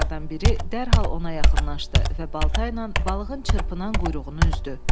Matroslardan biri dərhal ona yaxınlaşdı və balta ilə balığın çırpınan quyruğunu üzdü.